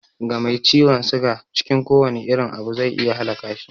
Ga mai ciwon suga, cikin kowane irin abu zai iya halaka shi